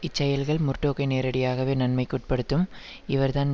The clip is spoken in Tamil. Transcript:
இச்செயல்கள் முர்டோக்கை நேரடியாகவே நன்மைக்கு உட்படுத்தும் இவர்தான்